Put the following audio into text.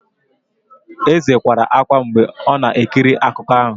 Eze kwara ákwá mgbe ọ na-ekiri akụkọ ahụ.